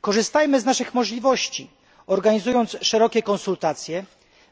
Korzystajmy z naszych możliwości, organizując szerokie konsultacje,